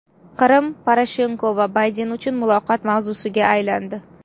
Qrim Poroshenko va Bayden uchun muloqot mavzusiga aylandi.